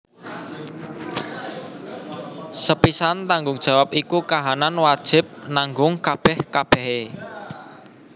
Sepisan tanggung jawab iku kahanan wajib nanggung kabèh kabèhé